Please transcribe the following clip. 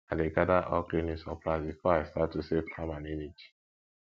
i dey gather all cleaning supplies before i start to save time and energy